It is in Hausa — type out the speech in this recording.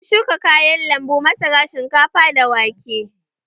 Mun shuka kayan lambu, masara, shinkafa da wake.